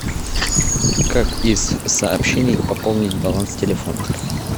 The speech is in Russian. как из сообщений пополнить баланс телефона